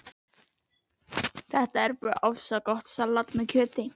Þetta er bara ofsagott salat með kjöti